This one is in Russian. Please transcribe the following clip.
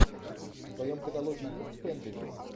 в твоем каталоге есть фэнтези